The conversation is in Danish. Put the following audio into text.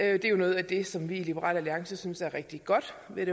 er jo noget af det som vi i liberal alliance synes er rigtig godt ved